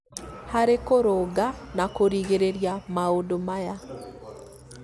harĩ kũrũnga na kũrigĩrĩria maũndũ maya